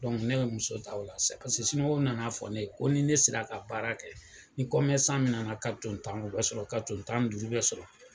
ne bɛ muso ta o la sisan paseke nana fɔ ne ye, ko ni ne sera ka baara kɛ, ni min nana ka to tan, u bɛ sɔrɔ, ka don tan duuru bɛ sɔrɔ.